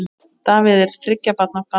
Davíð er þriggja barna faðir.